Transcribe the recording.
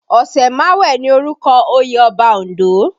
Osemawe ni orúkọ oyè Ọba Ondo